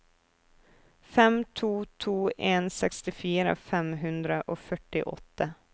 fem to to en sekstifire fem hundre og førtiåtte